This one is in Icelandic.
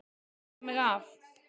Ég loka mig af.